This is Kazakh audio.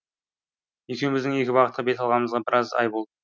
екеуміздің екі бағытқа бет алғанымызға біраз ай болды